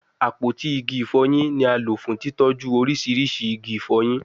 Apoti igi ifoyin ni a lo fun titọju oriṣiriṣi igi ifoyin